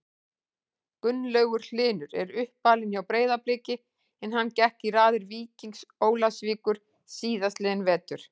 Gunnlaugur Hlynur er uppalinn hjá Breiðabliki en hann gekk í raðir Víkings Ólafsvíkur síðastliðinn vetur.